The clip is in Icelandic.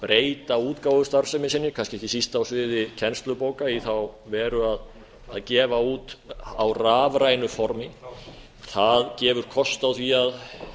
breyta útgáfustarfsemi sinni kannski ekki síst á sviði kennslubóka í þá veru að gefa út á rafrænu formi það gefur kost á því að